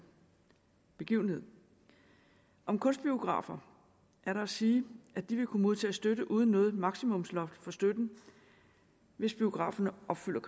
begivenhed om kunstbiografer er der at sige at de vil kunne modtage støtte uden noget maksimumsloft for støtten hvis biograferne opfylder